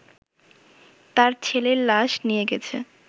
তার ছেলের লাশ নিয়েগেছে